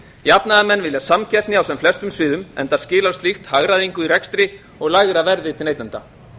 jafnaðarmenn vilja samkeppni á sem flestum sviðum enda skilar slíkt hagræðingu í rekstri og lægra verði til neytenda